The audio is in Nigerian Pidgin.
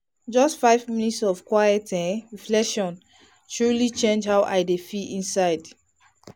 just five minutes of quiet um reflection dey truly change how i dey feel inside.